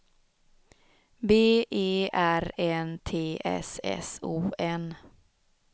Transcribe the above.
B E R N T S S O N